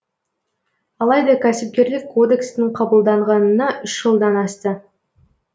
алайда кәсіпкерлік кодекстің қабылданғанына үш жылдан асты